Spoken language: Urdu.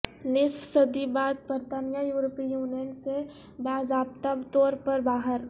نصف صدی بعد برطانیہ یورپی یونین سے باضابطہ طور پر باہر